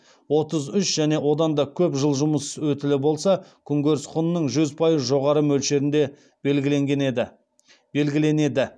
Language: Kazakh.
отыз үш және одан да көп жыл жұмыс өтілі болса күнкөріс құнының жүз пайыз жоғары мөлшерінде белгіленеді